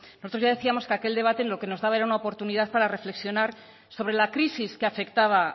nosotros ya decíamos que aquel debate lo que nos daba era una oportunidad para reflexionar sobre la crisis que afectaba